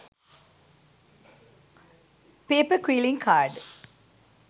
paper quilling card